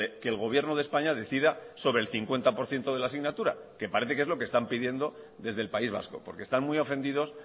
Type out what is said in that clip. que el gobierno de españa decida sobre el cincuenta por ciento de la asignatura que parece que están pidiendo desde el país vasco porque están muy ofendidos